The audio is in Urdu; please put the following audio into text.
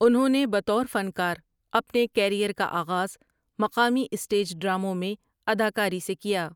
انہوں نے بطور فنکار اپنے کیریئر کا آغاز مقامی اسٹیج ڈراموں میں اداکاری سے کیا ۔